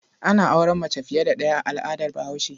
Ana auren mace fiye da ɗaya a al'adar Bahaushe.